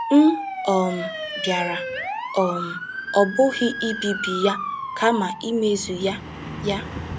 M um bịara, um ọ bụghị ibibi ya, kama imezu ya. ” ya. ”